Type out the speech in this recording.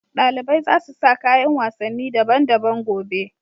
Dalibai za su sa kayan wasanni daban-daban gobe.